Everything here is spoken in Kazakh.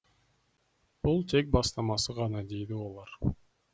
бұл тек бастамасы ғана дейді олар